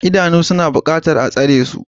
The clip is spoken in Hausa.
Idanu suna buƙatar a tsare su.